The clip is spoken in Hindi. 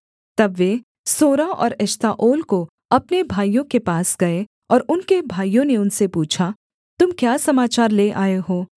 तब वे सोरा और एश्ताओल को अपने भाइयों के पास गए और उनके भाइयों ने उनसे पूछा तुम क्या समाचार ले आए हो